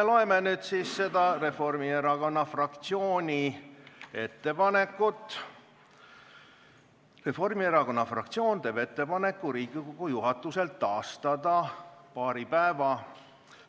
Loeme seda Reformierakonna fraktsiooni ettepanekut: Reformierakonna fraktsioon teeb ettepaneku Riigikogu juhatusel taastada paari päeva